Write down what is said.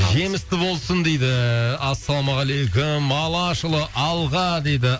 жемісті болсын дейді ассалаумағалейкум алашұлы алға дейді